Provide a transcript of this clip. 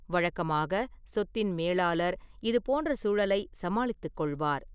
வழக்கமாக, சொத்தின் மேலாளர் இது போன்ற சூழலை சமாளித்துக்கொள்வார்.